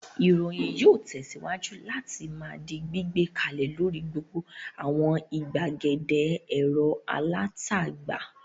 Ìròyìn yóò tẹ̀síwájú láti máa di gbígbé kalẹ̀ lórí gbogbo àwọn ìgbàgede ẹ̀rọ alátagbà.